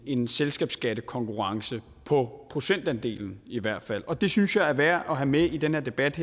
en selskabsskattekonkurrence på procentandelen i hvert fald og det synes jeg er værd at have med i den her debat